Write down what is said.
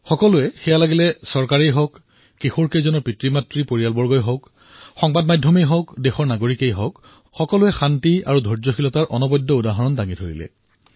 সকলোৱে চৰকাৰেই হওক সেই কিশোৰকেইজনৰ পিতৃমাতৃয়েই হওক তেওঁলোকৰ পৰিয়ালেই হওক সংবাদ মাধ্যমেই হওক দেশৰ নাগৰিকেই হওকসকলোৱে শান্তি আৰু ধৈৰ্যৰ অদ্ভূত আচৰণ প্ৰদৰ্শন কৰিলে